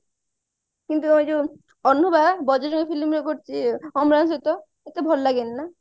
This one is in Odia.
କିନ୍ତୁ ଏଇ ଅନୁଭା ବଜାରଙ୍ଗୀ film ରେ କରୁଛି ଅମ୍ଳାନ ସହିତ ଏତେ ଭଲ ଲାଗେନି ନା